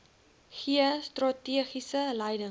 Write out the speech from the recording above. gee strategiese leiding